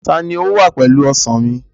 Ta ló wà pẹ̀lú Ọsàn mi?